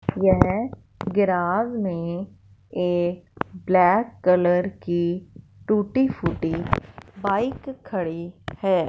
यह गेराज में एक ब्लैक कलर की टूटी फूटी बाइक खड़ी है।